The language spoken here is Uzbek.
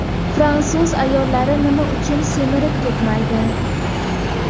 Fransuz ayollari nima uchun semirib ketmaydi?.